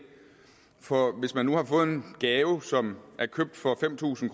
for hvis man nu har fået en gave som er købt for fem tusind